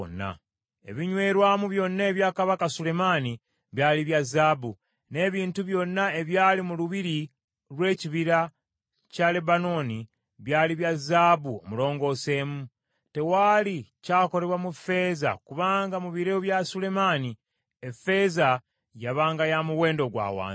Ebinywerwamu byonna ebya kabaka Sulemaani byali bya zaabu, n’ebintu byonna ebyali mu lubiri lw’Ekibira kya Lebanooni byali bya zaabu omulongoseemu. Tewaali kyakolebwa mu ffeeza kubanga mu biro bya Sulemaani effeeza yabanga ya muwendo gwa wansi.